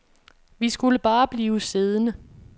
Vi skulle bare blive siddende.